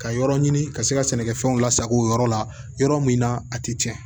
Ka yɔrɔ ɲini ka se ka sɛnɛkɛ fɛnw lasago yɔrɔ la yɔrɔ min na a tɛ tiɲɛ